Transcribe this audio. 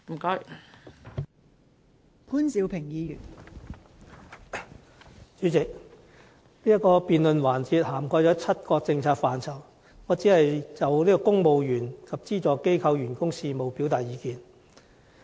代理主席，這個辯論環節涵蓋了7個政策範疇，我只會就公務員及資助機構員工事務表達意見。